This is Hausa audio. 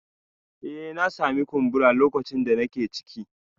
Eh na sami kumbura lokacin da nake ciki